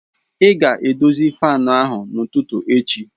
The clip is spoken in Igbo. Ị ga-edozi fan ahụ n'ụtụtụ echi!